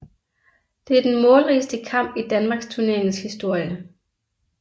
Det er den målrigeste kamp i Danmarksturneringens historie